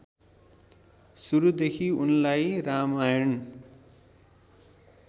सुरूदेखि उनलाई रामायण